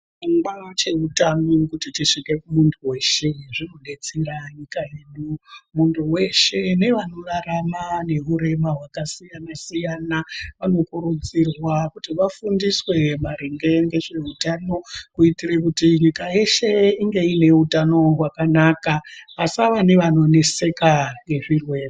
Chirongwa cheutano kuti chisvike kumuntu weshe zvinodetsera nyika yedu. Muntu weshe nevanorarama neurema hwakasiyana-siyana vanokurudzirwa kuti vafundiswe maringe ngezveutano kuitire kuti nyika yeshe inge iine utano hwakanaka, pasava nevanoneseka ngezvirwere.